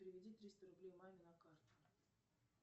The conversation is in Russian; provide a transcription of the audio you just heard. переведи триста рублей маме на карту